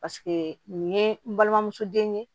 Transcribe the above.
Paseke nin ye n balimamuso den ye